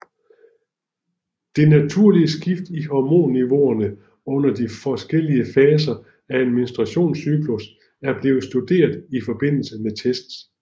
Det naturlige skift i hormonniveauer under de forskellige faser af en menstruationscyklus er blevet studeret i forbindelse med tests